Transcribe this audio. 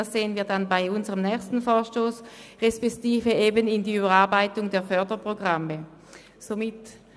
Dies wird bei unserem nächsten Vorstoss respektive bei der Überarbeitung der Förderprogramme ersichtlich werden.